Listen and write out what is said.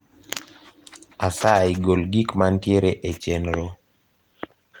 asayi gol gik mantiere e chenro